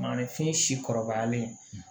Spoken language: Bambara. Maninfin si kɔrɔbayalen